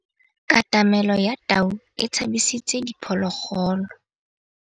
Katamêlô ya tau e tshabisitse diphôlôgôlô.